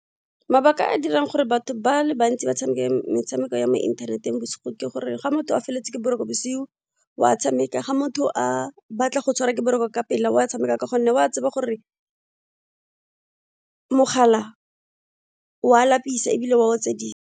Mabaka a a dirang gore batho ba le bantsi ba tshameke metshameko ya mo inthaneteng bosigo ke gore ga motho a felletse ke boroko bosigo wa tshameka, ga motho a batla go tshwarwa ke boroko ka pela wa tshameka ka gonne wa tseba gore, mogala wa lapisa ebile wa otsedisa.